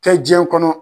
Kɛ diɲɛ kɔnɔ